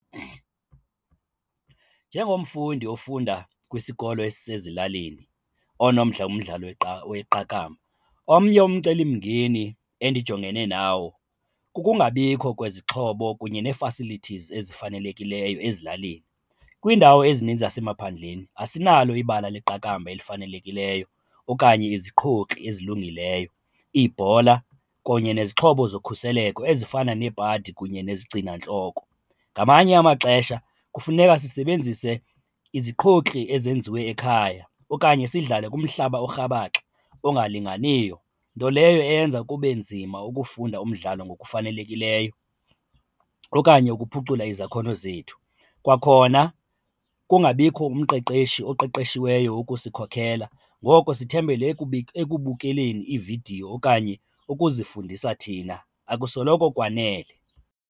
Njengomfundi ofunda kwisikolo esisezilalini onomdla kumdlalo weqakamba, omnye umcelimngeni endijongene nawo kukungabikho kwezixhobo kunye nee-facillities ezifanelekileyo ezilalini. Kwiindawo ezininzi zasemaphandleni asinalo ibala leqakamba elifanelekileyo okanye iziqhokri ezilungileyo, ibhola kunye nezixhobo zokhuseleko ezifana nebhadi kunye nezigcinantloko. Ngamanye amaxesha kufuneka sisebenzise iziqhokri ezenziwe ekhaya okanye sidlale kumhlaba orhabaxa olungalinganiyo, nto leyo eyenza kube nzima ukufunda umdlalo ngokufanelekileyo okanye ukuphucula izakhono zethu. Kwakhona kungabikho umqeqeshi oqeqeshiweyo ukusikhokhela ngoko sithembele ekubukeleni iividiyo okanye ukuzifundisa thina, akusoloko kwanele.